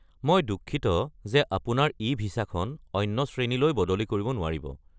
মই দুঃখিত যে আপুনি আপোনাৰ ই-ভিছাখন অন্য শ্ৰেণীলৈ বদলি কৰিব নোৱাৰিব।